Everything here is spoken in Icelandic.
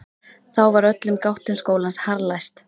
Þá var öllum gáttum skólans harðlæst.